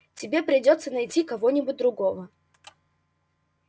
тебе придётся найти кого-нибудь другого